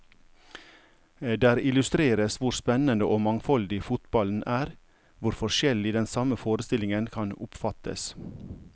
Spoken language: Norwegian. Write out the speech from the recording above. Der illustreres hvor spennende og mangfoldig fotballen er, hvor forskjellig den samme forestillingen kan oppfattes.